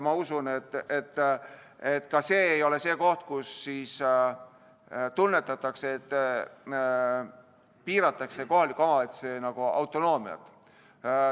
Ma usun, et see ei ole ka see koht, kus tunnetatakse, et piiratakse kohaliku omavalitsuse autonoomiat.